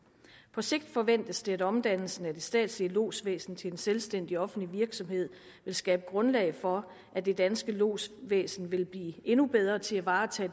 på sigt forventes det at omdannelsen af det statslige lodsvæsen til en selvstændig offentlig virksomhed vil skabe grundlag for at det danske lodsvæsen vil blive endnu bedre til at varetage